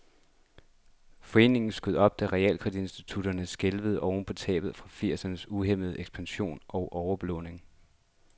Foreningen skød op, da realkreditinstitutterne skælvede oven på tab fra firsernes uhæmmede ekspansion og overbelåninger.